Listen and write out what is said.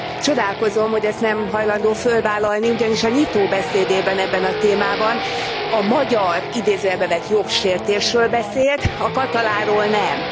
Csodálkozom, hogy ezt nem hajlandó fölvállalni, ugyanis a nyitó beszédében ebben a témában a magyar jogsértésről beszélt, a katalánról nem.